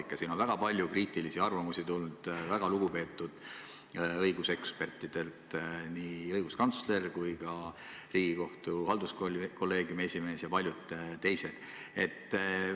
Selle kohta on väga palju kriitilisi arvamusi tulnud väga lugupeetud õigusekspertidelt, nii õiguskantslerilt, Riigikohtu halduskolleegiumi esimehelt kui ka paljudelt teistelt.